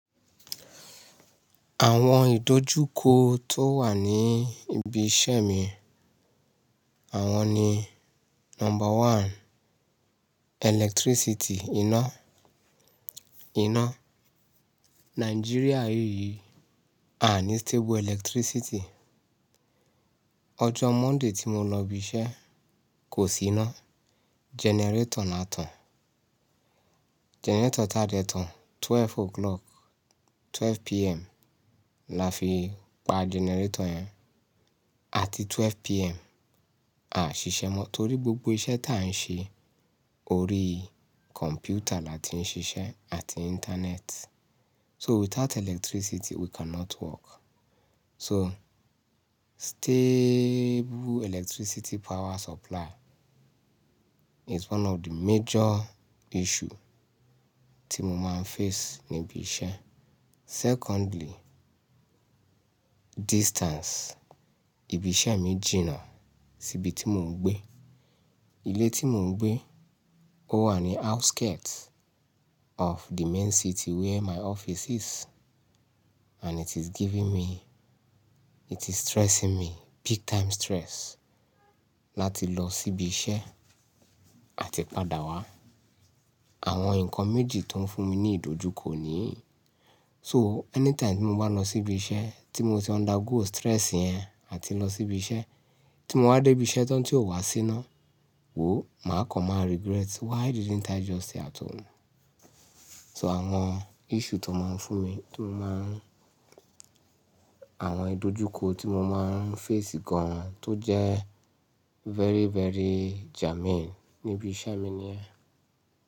Àwọn ìdójúko tó wà ní ibi iṣẹ́ mi, àwọn ni number one, electricity, iná. Iná, Nigeria yìí, a ní stable electricity. Ọjọ́ Monday tí mo lọ ibi iṣẹ́ kò sí iná, generator ná tàn. Generator táa dẹ tán, 12 o'clock, 12pm la fi pa generator yẹn. Àti 12pm, a ṣiṣẹ́ mọ́ torí gbogbo iṣẹ́ táa ń ṣe, orí computer la ti ń ṣiṣẹ́ àti internet. So without electricity we cannot work. So stable electricity power supply is one of the major issue tí mo máa ń face ní ibi iṣẹ́. Secondly, distance. Ibi iṣẹ́ mi jìnà síbi tí mò ń gbé. Ilé tí mò ń gbé, ó wà ní outskirt of the main city where my office is. And it is giving me, it is stressing me, big time stress láti lọ síbi iṣẹ́ àti padà wá. Àwọn nǹkan méjì tó ń fún mi ní ìdójúko nìyí. So anytime tí mo bá lọ síbi iṣẹ́, tí mo ti undergo stress yẹn àti lọ síbi iṣẹ́, tí mo bá dé ibi iṣẹ́ tán tí ò wá sí iná, wòó, màá kọ̀ máa regret. Why didn't I just stay at home? So àwọn issue tó máa ń fún mi, mo máa ń àwọn ìdójúko tí mo máa ń face gan-an tó jẹ́ very, very jamming ní ibi iṣẹ́ mi nìyẹn.